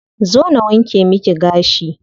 Zo na wanke miki gashi.